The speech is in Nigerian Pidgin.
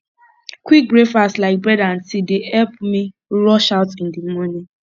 quick breakfast like bread and tea dey help me rush out in the morning